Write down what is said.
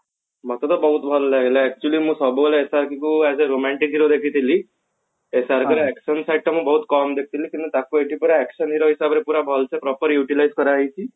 ମତେ ତ ବହୁତ ଭଲ ଲାଗିଲା actually ମୁଁ ସବୁବେଳେ SRK କୁ as a romantic hero ଦେଖିଥିଲି SRK ର action site ଟା ମୁଁ ବହୁତ କମ ଦେଖିଥିଲି କିନ୍ତୁ ତାକୁ ଏଠି ପୁରା action hero ହିସାବରେ ପୁରା ଭଲସେ proper utilize କରାଯାଇଛି